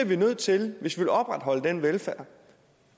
vi nødt til hvis vi vil opretholde den velfærd